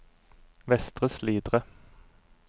Vestre Slidre